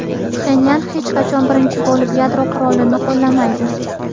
Pxenyan hech qachon birinchi bo‘lib yadro qurolini qo‘llamaydi.